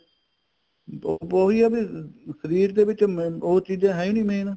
ਜੋ ਵੀ ਇਹ ਵੀ ਸ਼ਰੀਰ ਤੋਂ ਵੀ ਚਲੋ ਉਹ ਚੀਜ਼ਾਂ ਹੈ ਈ ਨੀਂ main